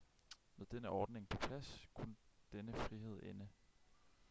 med denne ordning på plads kunne denne frihed ende